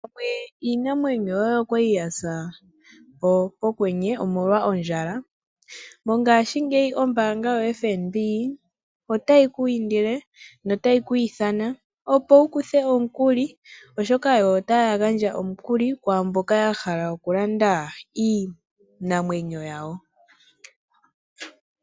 Pamwe iinamwenyo yoye oyali yasa pokwenye omolwa ondjala? Mongashingeyi ombanga yoFNB otayi ku indile notayi ku ithana opo wu kuthe omukuli oshoka otaya gandja omukuli kwaamboka ya hala oku landa iinamwenyo yawo.